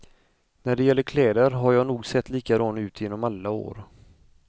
När det gäller kläder har jag nog sett likadan ut genom alla år.